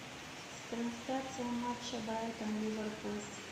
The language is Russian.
трансляция матча брайтон ливерпуль